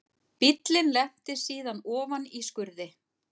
Bíllinn lenti síðan ofan í skurði